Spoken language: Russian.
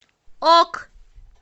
ок